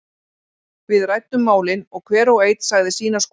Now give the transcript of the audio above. Við ræddum málin og hver og einn sagði sína skoðun.